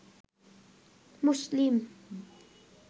মুসলিম